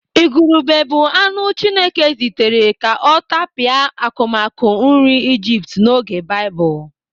Ìgùrùbè bụ anụ Chineke zitere ka ọ tapịa akụmakụ nri Ijipt n'oge Baịbụl.